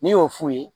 N'i y'o f'u ye